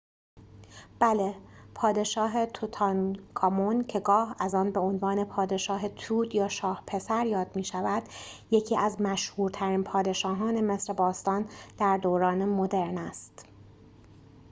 بله پادشاه توتانکامون که گاه از آن به عنوان پادشاه توت یا شاه پسر یاد می شود یکی از مشهورترین پادشاهان مصر باستان در دوران مدرن است